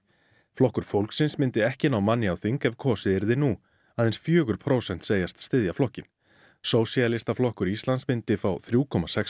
flokkur fólksins myndi ekki ná manni á þing ef kosið yrði nú aðeins fjögur prósent segjast styðja flokkinn sósíalistaflokkur Íslands myndi fá þrjú komma sex